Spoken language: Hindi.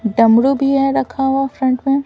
डमरू भी है रखा हुआ फ्रंट में --